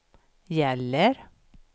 gäller